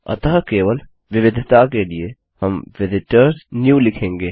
अतः केवल विविधता के लिए हम visitors new लिखेंगे